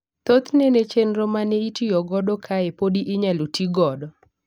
Thothne ne chenro ma neitiyo godo kae podi inyalo tii godo.